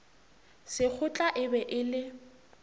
sekgotla e be e le